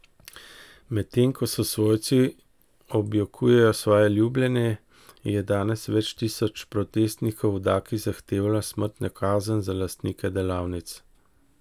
Medtem ko svojci objokujejo svoje ljubljene, je danes več tisoč protestnikov v Daki zahtevalo smrtno kazen za lastnike delavnic.